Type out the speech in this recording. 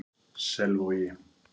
Selvogi